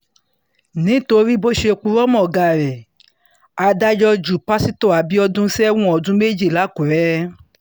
nítorí bó ṣe purọ́ mọ́ ọ̀gá rẹ̀ adájọ́ ju pásítọ̀ abiodun sẹ́wọ̀n ọdún méjì lákùrè